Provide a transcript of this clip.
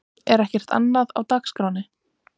Er ekkert annað á dagskránni?